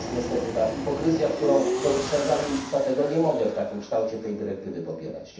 I tu jest niestety ta hipokryzja, którą dostrzegam i dlatego nie mogę w takim kształcie tej dyrektywy poprzeć.